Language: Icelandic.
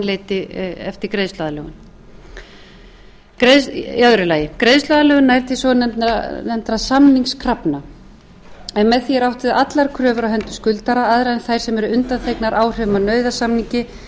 leiti eftir greiðsluaðlögun annars greiðsluaðlögun nær til svonefndra samningskrafna en með því er átt við allar kröfur á hendur skuldara aðrar en þær sem eru undanþegnar áhrifum af nauðasamningi eða falla niður